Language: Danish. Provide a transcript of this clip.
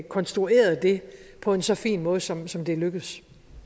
konstrueret det på en så fin måde som som det er lykkedes